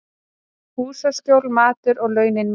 Húsaskjól, matur og launin mín.